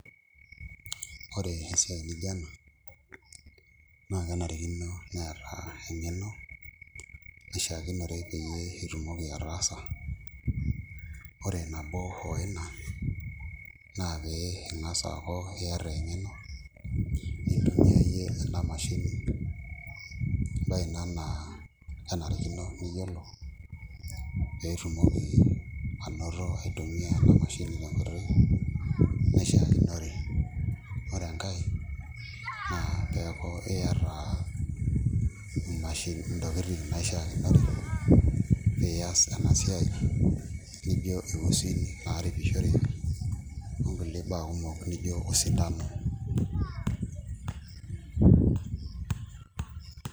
Ore esiai nijio ena naa kenarikino neeta eng'eno nishiakinore peyie itumoki ataasa ore nabo oo ina naa pee ing'as aaku iata eng'eno nintumiaie ina mashini embaye ina naa kenarikinore niyiolo pee itumoki aitumiaa ina mashini tenkoitoi naishiakinore ore enkae naa kifaa pee eeku iata ntokitin naishiakinore pee ias ena siai nijio iusin naaripishoreki onkulie baa kumok nijio osindano.